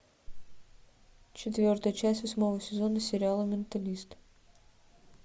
четвертая часть восьмого сезона сериала менталист